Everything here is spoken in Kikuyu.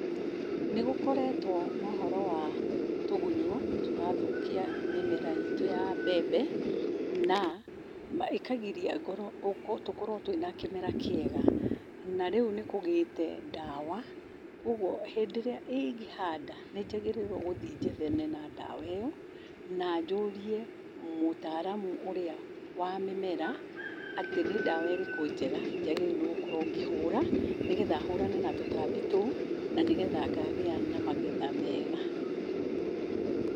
Nĩ gũkoretwo na ũhoro wa tũgunyũ tũrathũkia mĩmera itũ ya mbembe na ĩkagiria ngorwo, tũkorwo twĩna kĩmera kĩega. Na rĩu nĩ kũgĩĩte ndawa. Kwoguo hĩndĩ ĩrĩa ingĩhanda, nĩ njagĩrĩirwo gũthiĩ njethane na ndawa ĩyo, na njũrie mũtaaramũ ũrĩa wa mĩmera atĩ nĩ ndawa ĩrĩkũ njega njagĩrĩirwo nĩ gũkorwo ngĩhura nĩgetha hũrane na tũtambi tũu, na nĩgetha ngagĩa na magetha mega.